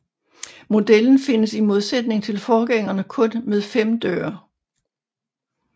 Modellen findes i modsætning til forgængerne kun med fem døre